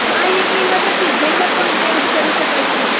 આ એપની મદદથી જેન્ડર પણ ચેન્જ કરી શકાય છે